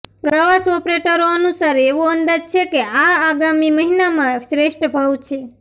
પ્રવાસ ઓપરેટરો અનુસાર એવો અંદાજ છે કે આ આગામી મહિનામાં શ્રેષ્ઠ ભાવ છે